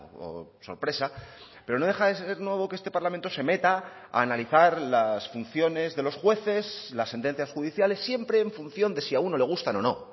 o sorpresa pero no deja de ser nuevo que este parlamento se meta a analizar las funciones de los jueces las sentencias judiciales siempre en función de si a uno le gustan o no